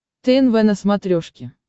тнв на смотрешке